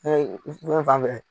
fɛn fan fɛ